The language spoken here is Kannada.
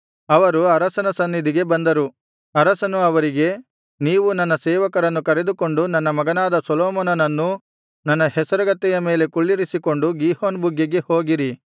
ಅರಸನು ಅವರಿಗೆ ನೀವು ನನ್ನ ಸೇವಕರನ್ನು ಕರೆದುಕೊಂಡು ನನ್ನ ಮಗನಾದ ಸೊಲೊಮೋನನನ್ನು ನನ್ನ ಹೇಸರಗತ್ತೆಯ ಮೇಲೆ ಕುಳ್ಳಿರಿಸಿಕೊಂಡು ಗೀಹೋನ್ ಬುಗ್ಗೆಗೆ ಹೋಗಿರಿ